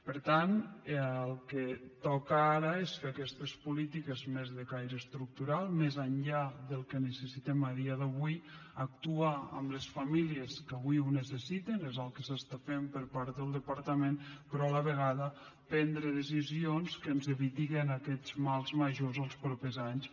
per tant el que toca ara és fer aquestes polítiques més de caire estructural més enllà del que necessitem a dia d’avui actuar en les famílies que avui ho necessiten és el que es fa per part del departament però a la vegada prendre decisions que ens eviten aquests mals majors els propers anys